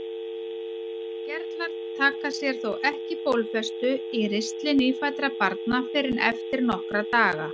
Gerlar taka sér þó ekki bólfestu í ristli nýfæddra barna fyrr en eftir nokkra daga.